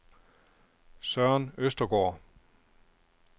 Søren Østergaard